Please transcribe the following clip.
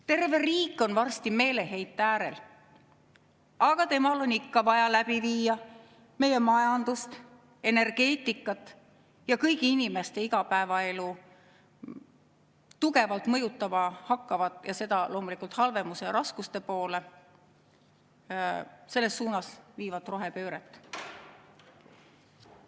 Terve riik on varsti meeleheite äärel, aga temal on ikka vaja läbi viia meie majandust, energeetikat ja kõigi inimeste igapäevaelu tugevalt mõjutama hakkavat, loomulikult halvemuse ja raskuste poole viivat rohepööret.